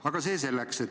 Aga see selleks.